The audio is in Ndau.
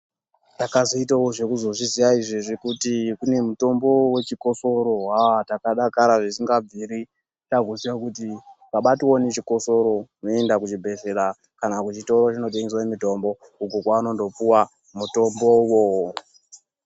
Ndakazoitawo zvekuzozviziya izvezvi kuti kune mutombo wechikosoro, hah ndakadakara zvisingabviri. Taakuziya kuti tikabatwa nechikosoro toenda kuchibhehlera kana kuchitoro chinotengeswe mutombo uko kwaunonopuwa mutombowo.